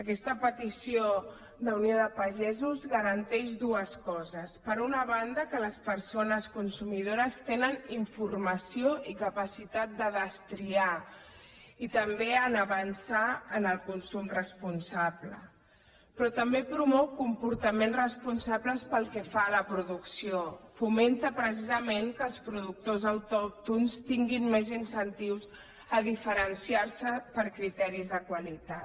aquesta petició d’unió de pagesos garanteix dues coses per una banda que les persones consumidores tenen informació i capacitat de destriar i també avançar en el consum responsable però també promou comportaments responsables pel que fa a la producció fomenta precisament que els productors autòctons tinguin més incentius per diferenciar se per criteris de qualitat